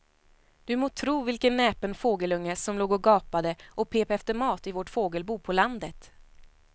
Du må tro vilken näpen fågelunge som låg och gapade och pep efter mat i vårt fågelbo på landet.